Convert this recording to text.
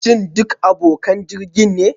Shin duk abokan jirgin ne?